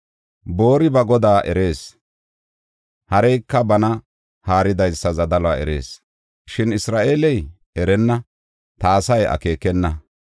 Boori ba godaa erees; hareyka bana haaridaysa zadaluwa erees. Shin Isra7eeley erenna; ta asay akeekenna.